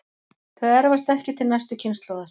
Þau erfast ekki til næstu kynslóðar.